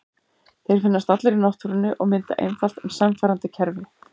Þeir finnast allir í náttúrunni og mynda einfalt en sannfærandi kerfi.